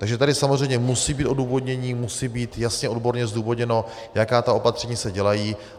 Takže tady samozřejmě musí být odůvodnění, musí být jasně odborně zdůvodněno, jaká ta opatření se dělají.